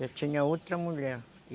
Já tinha outra mulher.